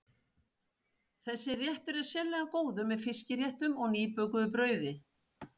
Þessi réttur er sérlega góður með fiskréttum og nýbökuðu brauði.